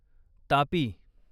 Tapi